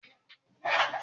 Baba mu mi lọ si ọgba iṣere.